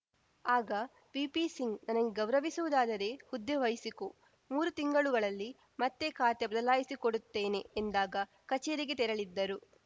ಆಗ ವಿಪಿ ಸಿಂಗ್‌ ನನಗೆ ಗೌರವಿಸುವುದಾದರೆ ಹುದ್ದೆ ವಹಿಸಿಕೋ ಮೂರು ತಿಂಗಳುಗಳಲ್ಲಿ ಮತ್ತೆ ಖಾತೆ ಬದಲಿಸಿಕೊಡುತ್ತೇನೆ ಎಂದಾಗ ಕಚೇರಿಗೆ ತೆರಳಿದ್ದರು